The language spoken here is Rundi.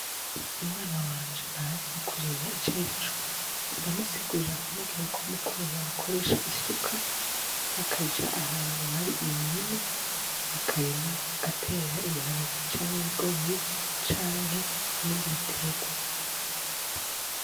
Umwana wanje ntazi kurima icarico ,ndamusigurira nkamubwirako m'ukurima bakoresha isuka bakaja ahantu har'imirima bakarima bagater'ibiharage cank'ibigori ,canke ibindi biterwa.